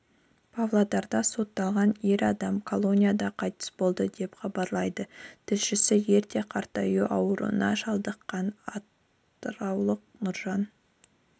павлодарда сотталған ер адам колонияда қайтыс болды деп хабарлайды тілшісі ерте қартаю ауруына шалдыққан атыраулық нұржан